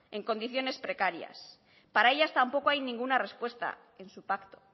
en condiciones precarias para ellas tampoco hay ninguna respuesta en su pacto